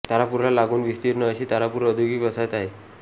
तारापूरला लागून विस्तीर्ण अशी तारापूर औद्योगिक वसाहत आहे